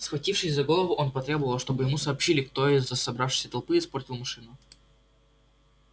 схватившись за голову он потребовал чтобы ему сообщили кто из собравшейся толпы испортил машину